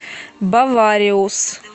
бавариус